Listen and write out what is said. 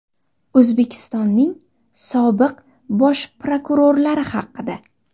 O‘zbekistonning sobiq bosh prokurorlari haqida.